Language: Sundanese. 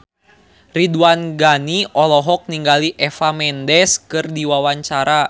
Ridwan Ghani olohok ningali Eva Mendes keur diwawancara